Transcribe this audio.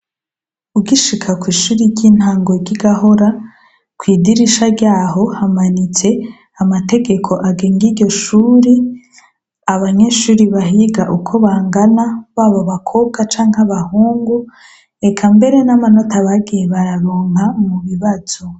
Ugishika kw'ishuri ry'intango ry'igahora kw'idirisha ryaho hamanitse amategeko agenga igishuri abanyeshuri bahiga uko bangana babo bakobwa canke abahungu eka mbere n'amanota bagiye bararonka mu bibazo.